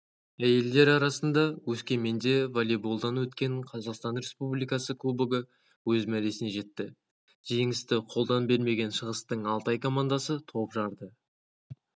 әйелдер арасында өскеменде волейболдан өткен қазақстан республикасы кубогы өз мәресіне жетті жеңісті қолдан бермеген шығыстың алтай командасы топ жарды